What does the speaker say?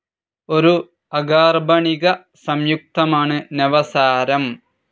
ഒരു അകാർബണിക സംയുക്തമാണ് നവസാരം.